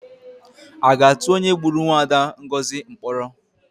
A ga-atụ onye gburu mwaada Ngozi mkpọrọ?